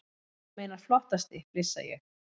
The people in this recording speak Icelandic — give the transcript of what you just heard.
Þú meinar flottasti, flissa ég.